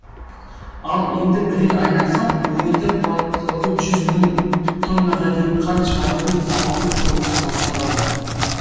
ал енді бірер айдан соң өңірде қуаттылығы жүз мың тоннаға дейін қант шығаратын зауыттың құрылысы басталады